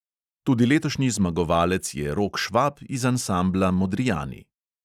Tudi letošnji zmagovalec je rok švab iz ansambla modrijani.